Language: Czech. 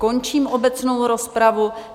Končím obecnou rozpravu.